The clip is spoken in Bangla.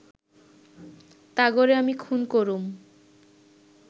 তাগোরে আমি খুন করুম